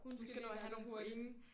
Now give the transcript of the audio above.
Hun skal virkelig have nogle point